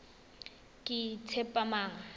ketshepamang